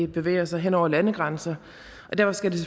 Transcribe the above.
bevæger sig hen over landegrænser og derfor skal det